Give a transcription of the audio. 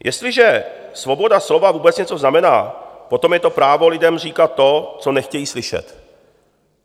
"Jestliže svoboda slova vůbec něco znamená, potom je to právo lidem říkat to, co nechtějí slyšet."